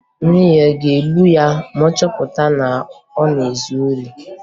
Nne ya a ga-egbu ya ma ọ chọpụta na ọ na-ezu ohi?